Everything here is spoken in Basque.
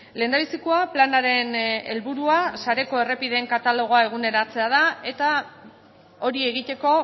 lehendabizikoa planaren helburua sareko errepideen katalogoa eguneratzea da eta hori egiteko